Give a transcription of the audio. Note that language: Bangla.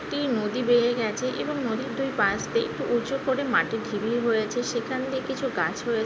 একটি নদী বেয়ে গাছে এবং নদীর দুই পাশ দিয়ে একটু উঁচু করে মাটির ঢিবি হয়েছে। সেখান দিয়ে কিছু গাছ রয়ে --